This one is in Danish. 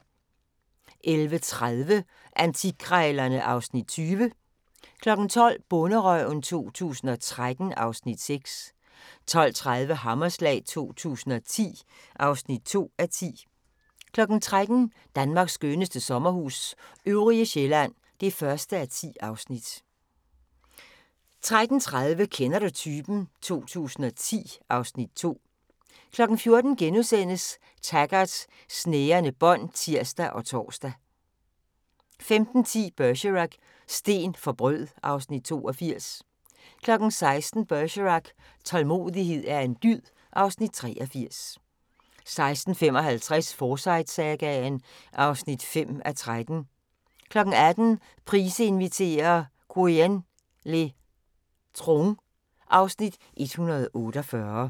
11:30: Antikkrejlerne (Afs. 20) 12:00: Bonderøven 2013 (Afs. 6) 12:30: Hammerslag 2010 (2:10) 13:00: Danmarks skønneste sommerhus – Øvrige Sjællland (1:10) 13:30: Kender du typen? 2010 (Afs. 2) 14:00: Taggart: Snærende bånd *(tir og tor) 15:10: Bergerac: Sten for brød (Afs. 82) 16:00: Bergerac: Tålmodighed er en dyd (Afs. 83) 16:55: Forsyte-sagaen (5:13) 18:00: Price inviterer - Quyen le Troung (Afs. 148)